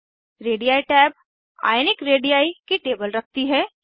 ready टैब ionic रेडी की टेबल रखती है